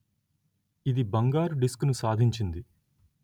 ఇది బంగారు డిస్కును సాధించింది